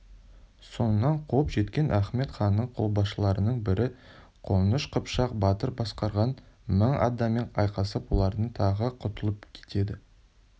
соңынан қуып жеткен ахмед ханның қолбасшыларының бірі қоныш-қыпшақ батыр басқарған мың адаммен айқасып олардан тағы құтылып кетеді